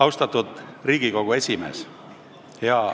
Austatud Riigikogu esimees!